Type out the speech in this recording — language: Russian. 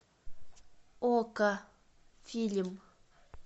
окко фильм